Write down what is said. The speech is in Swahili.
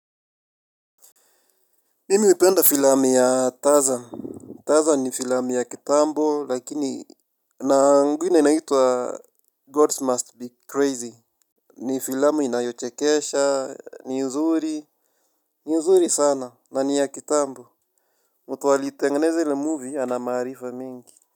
Mimi hupenda filamu ya taza. Tazan ni filamu ya kitambo lakini na ingine inaitwa Gods Must Be Crazy. Ni filamu inayochekesha ni uzuri. Ni uzuri sana na ni ya kitambo. Muta aliitengeneze ili movie ana maarifa mingi.